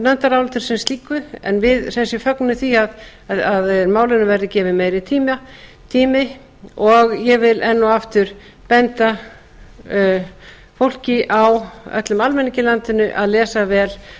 nefndaráliti sem slíku en við sem sé fögnum því að málinu verði gefinn meiri tími og ég vil enn og aftur benda fólki öllum almenningi í landinu að lesa vel